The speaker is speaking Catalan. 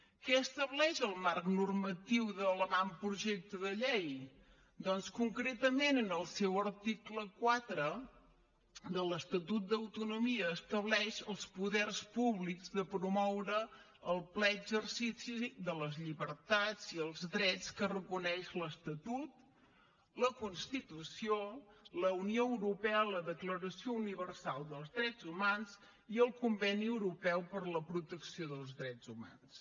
què estableix el marc normatiu de l’avantprojecte de llei doncs concretament en el seu article quatre de l’estatut d’autonomia estableix els poders públics de promoure el ple exercici de les llibertats i els drets que reconeix l’estatut la constitució la unió europea la declaració universal dels drets humans i el conveni europeu per a la protecció dels drets humans